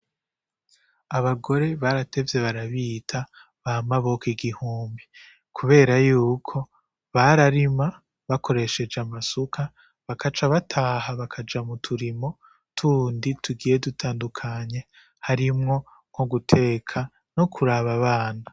Abagore baratevye barabita ba maboko igihumbi kubera yuko bararima bakoresheje amasuka bagaca bataha bakaja mu turimo tundi tugiye dutandukanye harimwo nko guteka no kuraba abana.